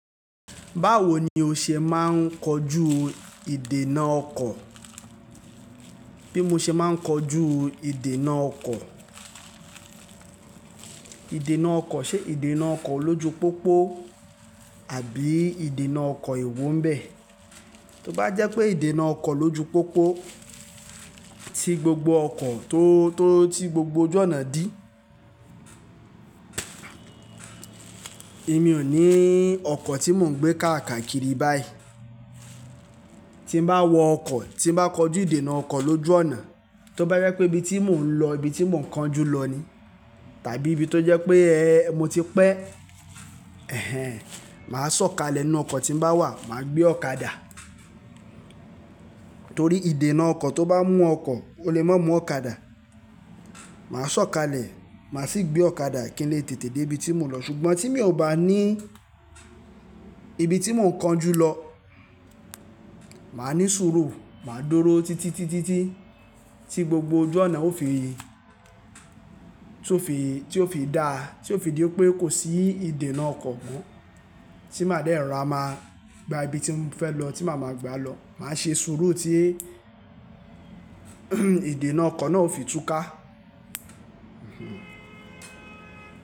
Báwo ni o ṣe máa ń kojú ìdènà ọkọ̀? Bí mo ṣe máa ń kojú ìdènà ọkọ̀, ìdènà ọkọ̀, ṣe ìdènà ọkọ̀ lójú pópó àbí ìdènà ọkọ̀ ewo ń bẹ̀? Tí ó bá jẹ́ pé ìdènà ọkọ̀ lójú pópó, tí gbogbo ọkọ̀ tó, tó, tí gbogbo ojú ọ̀nà dí. Èmi ò ní ọkọ̀ tí mò ń gbé káàkà kiri báyìí. Tí n bá wọ ọkọ̀, tí bá kojú ìdènà ọkọ̀ lójú ọ̀nà, tó bá jẹ́ pé ibi tí mò ń lọ, ibi tí mò ń kan jú lọ ni, tàbí ibi tó jẹ́ pé, mo ti pẹ́, ẹhẹn, màá sọ̀kalẹ̀ inú ọkọ̀ tí bá wà, màá gbé ọ̀kadà. Torí ìdènà ọkọ̀ tó bá mú ọkọ̀, ó lè má mú ọ̀kadà. Màá sọ̀kalẹ̀, màá sì gbé ọ̀kadà kí n lè tètè dé ibi tí mò ń lọ. Ṣùgbọ́n tí mi ò bá ní ibi tí mò ń kan jú lọ, màá ní sùúrù, màá dúró títí, títí, títí tí gbogbo ojú ọ̀nà ó fi, tí ó fi, tí ó fi dà, tí ó fi di pé kò sí ìdènà ọkọ̀ mọ́. Tí màá dẹ́ rora máa gba ibi tí mò ń fẹ́ lọ tí màá máa gbà lọ. Màá ṣe sùúrù tí ìdènà ọkọ̀ náà ó fi túká.